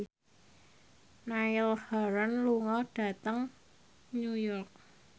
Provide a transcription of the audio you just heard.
Niall Horran lunga dhateng New York